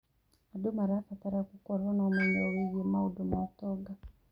Andũ marabatara gũkorwo na ũmenyo wĩgiĩ maũndũ ma ũtonga.